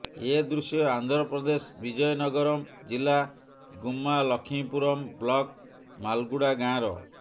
ଏ ଦୃଶ୍ୟ ଆନ୍ଧ୍ରପ୍ରଦେଶ ବିଜୟ ନଗରମ୍ ଜିଲ୍ଲା ଗୁମ୍ମା ଲକ୍ଷ୍ମୀପୁରମ୍ ବ୍ଲକ୍ ମାଲୁଗୁଡ଼ା ଗାଁର